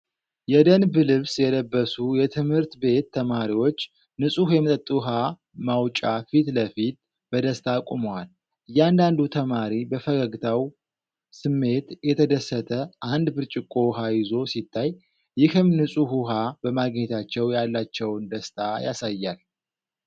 የደንብ ልብስ የለበሱ የትምህርት ቤት ተማሪዎች ንፁህ የመጠጥ ውሃ ማውጫ ፊት ለፊት በደስታ ቆመዋል። እያንዳንዱ ተማሪ በፈገግታው ስሜት እየተደሰተ አንድ ብርጭቆ ውሃ ይዞ ሲታይ፣ ይህም ንጹህ ውሃ በማግኘታቸው ያላቸውን ደስታ ያሳያል።